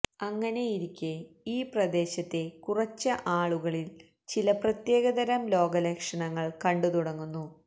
അങ്ങനെയിരിക്കെ ഈ പ്രദേശത്തെ കുറച്ച് ആളുകളില് ചില പ്രത്യേകതരം രോഗലക്ഷണങ്ങള് കണ്ടു തുടങ്ങുന്നു